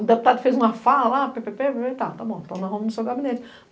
O deputado fez uma fala lá, ppp, tá, tá bom, tá na Roma no seu gabinete.